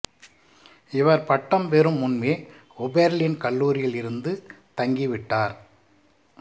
இவர் பட்டம் பெறும் முன்பே ஓபெர்லின் கல்லூரியில் இருந்து தங்கிவிட்டார்